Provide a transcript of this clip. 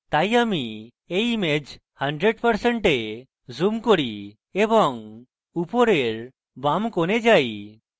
তাই আমি এই image 100% zoom করি এবং উপরের বাম corner যাই